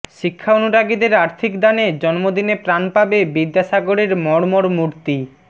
শিক্ষা অনুরাগীদের আর্থিক দানে জন্মদিনে প্রাণ পাবে বিদ্যাসাগরের মর্মর মূর্তি